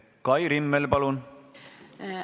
Kai Rimmel, palun!